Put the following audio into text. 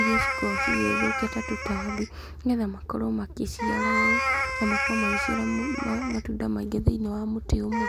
irĩa cikoragwo cigĩthũkia ta tũtambi, nĩgetha makorwo makĩciara ũũ, na makorwo magĩciara matunda maingĩ thĩiniĩ wa mũtĩ ũmwe.